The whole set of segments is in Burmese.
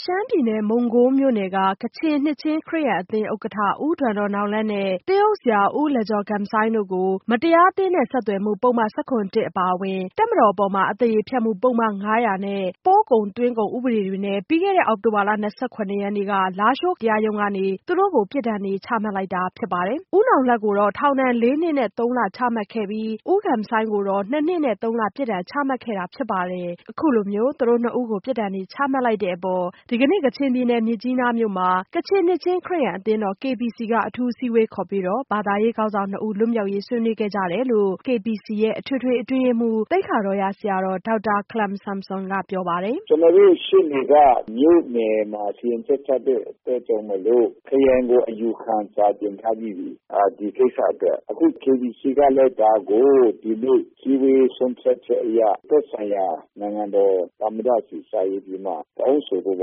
ရှမ်းပြည်နယ် မုံးကိုးမြို့နယ်က ကချင်နှစ်ခြင်းခရစ်ယာန်အသင်း ဥက္ကဋ္ဌ ဦးဒွမ်ဒေါ့နာင်လတ်နဲ့ သင်းအုပ်ဆရာ ဦးလမ်ဂျော်ဂမ်ဆိုင်း တို့ကို မတရားအသင်းနဲ့ ဆက်သွယ်မှု ပုဒ်မ ၁၇ အပါအဝင် တပ်မတော်အပေါ် အသရေဖျက်မှု ပုဒ်မ ၅၀၀ နဲ့ ပို့ကုန်သွင်းကုန်ဥပဒေတွေနဲ့ ပြီးခဲ့တဲ့အောက်တိုဘာလ ၂၇ရက်နေ့က လားရှိုးတရားရုံးကနေ သူတို့နှစ်ဦးကိုပြစ်ဒဏ်တွေ ချမှတ်လိုက်တာဖြစ်ပါတယ်။ ဦးနောင်လတ်ကိုတော့ ထောင်ဒဏ် ၄ နှစ် နဲ့ ၃ လ ချမှတ်ခဲ့ပြီး၊ ဦးဂမ်ဆိုင်းကိုတော့ ၂ နှစ် နဲ့ ၃ လ ပြစ်ဒဏ်ချမှတ်ခဲ့တာဖြစ်ပါတယ်။ အခုလိုသူတို့နှစ်ဦးကို ပြစ်ဒဏ်တွေ ချမှတ်လိုက်တဲ့အပေါ်ဒီကနေ့ ကချင်ပြည်နယ် မြစ်ကြီးနားမှာ ကချင်နှစ်ခြင်းခရစ်ယာန်အသင်းတော် KBC က အထူးအစည်းအဝေးခေါ်ပြီး ဘာသာရေးခေါင်းဆောင်နှစ်ဦး လွတ်မြောက်ရေး ဆွေးနွေးခဲ့ကြတယ်လို့ ကချင်နှစ်ခြင်းခရစ်ယာန်အသင်းတော် KBC ရဲ့ အထွေထွေအတွင်းရေးမှူး သိက္ခာတော်ရ ဆရာတော် ဒေါက်တာခလမ်ဆွမ်ဆွမ်က ပြောပြပါတယ်။ “ကျနော်တို့ရှေ့နေက မြို့နယ်မှာ စီရင်ချက်ချတဲ့အတွက်ကြောင့်မို့လို့ ခရိုင်ကို အယူခံစာ တင်ထားပြီးပြီ။ ဒီကိစ္စအတွက် အခု KBC က လည်းဒါကို ဒီနေ့အစည်းအဝေးဆုံးဖြတ်ချက်အရ သက်ဆိုင်ရာ နိုင်ငံတော်သမ္မတဆီကို စာရေးပြီးတော့မှ တောင်းဆိုဖို့ သူ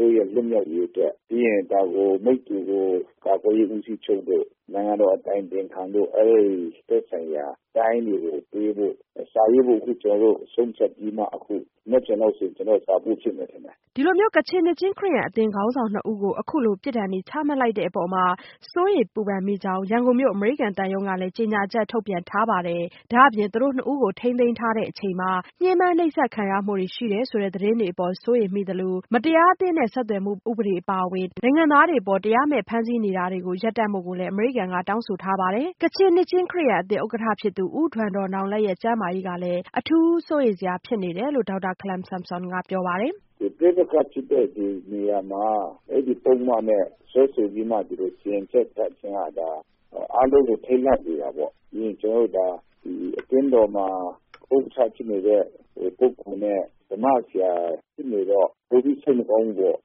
တို့ရဲ့လွှတ်မြောက်ရေးအတွက်။ ပြီးရင် ဒါကို မိတ္တူကို ကာကွယ်ရေးဦးစီးချုပ်တို့၊နိုင်ငံတော်အတိုင်ပင်ခံတို့ ပြီးရင် သက်ဆိုင်ရာတိုင်းတွေကို စာရေးဖို့ ကျနော်တို့အခုဆုံးဖြတ်ပြီးမှ မနက်ဖြန်လောက်ဆိုရင် ကျနော်စာပို့ဖြစ်မယ်ထင်တယ်။” ကချင်နှစ်ခြင်းခရစ်ယာန်အသင်းခေါင်းဆောင်နှစ်ဦးကို အခုလို ပြစ်ဒဏ်တွေချမှတ်လိုက်တဲ့အပေါ်မှာ စိုးရိမ်ပူပင်မိကြောင်း ရန်ကုန်မြို့အမေရိကန်သံရုံးကလည်း ကြေညာချက် ထုတ်ပြန်ထားပါတယ်။ ဒါ့အပြင် သူတို့ကိုထိန်းသိမ်းထားစဉ် ညှင်းပန်းနှိပ်စက်ခံရမှုတွေ ရှိတယ်ဆိုတဲ့ သတင်းတွေအပေါ် စိုးရိမ်မိသလို၊ မတရားအသင်းနဲ့ ဆက်သွယ်မှုဥပဒေ အပါအဝင် တခြားဥပဒေတွေနဲ့ နိုင်ငံသားတွေအပေါ် တရားမဲ့ဖမ်းဆီးနေတာတွေကို ရပ်တန့်ဖို့လည်း အမေရိကန်က တောင်းဆိုလိုက်ပါတယ်။ ကချင်နှစ်ခြင်းခရစ်ယာန်အသင်း ဥက္ကဋ္ဌဖြစ်သူ ဦးဒွမ်ဒေါ့နောင်လတ်ရဲ့ ကျန်းမာရေး ကလည်း အထူးစိုးရိမ်စရာဖြစ်နေတယ်လို့ ဒေါက်တာခလွမ်ဆွမ်ဆပ်ကပြောပါတယ်။ “ပဋိပက္ခဖြစ်တဲ့နေရာမှာ အဲဒီပုဒ်မနဲ့ စွဲဆိုပြီးမှ စီရင်ချက် ချတာဆိုရင် အားလုံးကိုထိတ်လန့်စေတာပေါ့။ ပြီးရင် ကျနော်တို့ဒါ အသင်းတော်မှာ ဥက္ကဋ္ဌဖြစ်နေတဲ့ ပုဂ္ဂိုလ်နဲ့ ဓမ္မဆရာ ဖြစ်နေတော့ ပိုပြီးတော့ စိတ်မကောင်းဘူးပေါ့။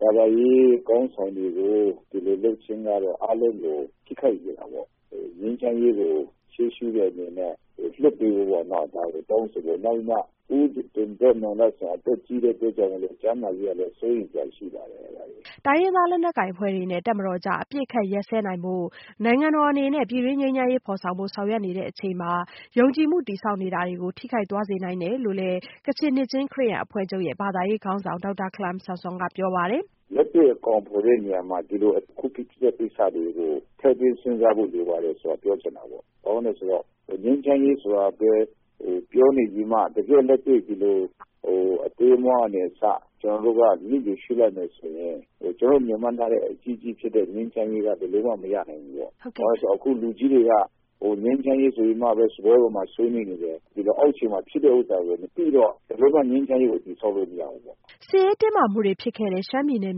ဘာသာရေးခေါင်းဆောင်တွေကို ဒီလိုလုပ်ခြင်းကတော့ အားလုံးကို ထိခိုက်စေတာပေါ့ ငြိမ်းချမ်းရေးကို ရှေးရှုတဲ့အနေနဲ့ လွှတ်ပေးဖို့ တောင်းဆိုတယ်။ နောက်ပြီးတော့ ဦးဒွမ်ဒေါ့နောင်လတ် ကလည်း အသက်ကြီးတဲ့အတွက် ကျန်းမာရေးက စိုးရိမ်စရာရှိပါတယ်။” တိုင်းရင်းသားလက်နက်ကိုင်အဖွဲ့တွေနဲ့ တပ်မတော်ကြား အပစ်အခတ်ရပ်စဲနိုင်ဖို့ နိုင်ငံတော်အနေနဲ့ ပြည်တွင်းငြိမ်းချမ်းရေးဖော်ဆောင်ဖို့ ဆောင်ရွက်နေတဲ့အချိန်မှာ ယုံကြည်မှုတည်ဆောက်နေတာတွေကို ထိခိုက်သွားနိုင်တယ်လို့လည်း ဒေါက်တာခလမ်ဆွမ်ဆမ်က ပြောပါတယ်။ “လက်တွေ့အကောင်ဖော်တဲ့နေရာမှာ အခုဖြစ်တဲ့ ကိစ္စတွေကို ထည့်သွင်းစဉ်းစားဖို့လိုပါတယ်ဆိုတာ ပြောချင်တာပေါ့။ ဘာကြောင့်လဲဆိုတော့ ငြိမ်းချမ်းရေးဆိုတာပြောနေပြီးမှ တကယ့်လက်တွေ့ အသေးအမွားကနေအစ ကျနော်တို့က လစ်လျူရှုလိုက်မယ်ဆိုရင် ကျနော်တို့မျှော်မှန်းထားတဲ့ အကြီးကြီးဖြစ်တဲ့ ငြိမ်းချမ်းရေးက ဘယ်လိုမှမရနိုင်ဘူးပေါ့ ဘာဖြစ်လို့လဲဆိုတော့အခု လူကြီးတွေက ငြိမ်းချမ်းရေးဆိုပြီးမှပဲ စားပွဲပေါ်မှာဆွေးနွေးနေတယ် အောက်ခြေမှာ ဖြစ်တဲ့ဟာကို မသိဘူးပေါ့ ဘယ်လိုမှ ငြိမ်းချမ်းရေးကို တည်ဆောက်လို့မရဘူးပေါ့။” စစ်ရေးတင်းမာမှုတွေဖြစ်ခဲ့တဲ့ ရှမ်းပြည်နယ်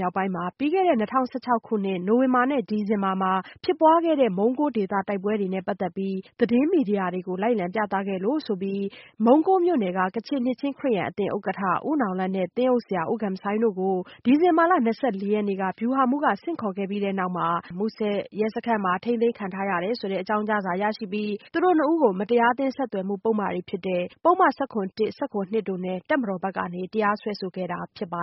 မြောက်ပိုင်းမှာပြီးခဲ့တဲ့ ၂၀၁၆နှစ် နိုဝင်ဘာနဲ့ ဒီဇင်ဘာလတွေမှာ ဖြစ်ပွားခဲ့တဲ့ မုံကိုးဒေသ တိုက်ပွဲတွေနဲ့ ပတ်သက်ပြီး သတင်းမီဒီယာတွေကို လိုက်လံ ပြသခဲ့လို့ဆိုပြီး မုံးကိုးမြို့နယ်က ကချင်နှစ်ခြင်းခရစ်ယာန်အသင်း ဥက္ကဋ္ဌ ဦးဒွမ်ဒေါ့နာင်လတ်နဲ့ သင်းအုပ်ဆရာ ဦးလမ်ဂျော်ဂမ်ဆိုင်း တို့ကို ဒီဇင်ဘာလ ရက်နေ့မှာ ဗျူဟာမှူးက ဆင့်ခေါ်ခဲ့ပြီးနောက် မူဆယ်ရဲစခန်းမှာ ထိန်းသိမ်းထားရတဲ့ အကြောင်းကြားစာရရှိပြီး သူတို့၂ ဦးကို မတရားအသင်း ဆက်သွယ်မှု ပုဒ်မတွေဖြစ်တဲ့ ပုဒ်မ ၁၇/၁ နဲ့ ၁၇/၂ တို့နဲ့ တပ်မတော်ဘက်က တရားစွဲဆိုခဲ့တာဖြစ်တ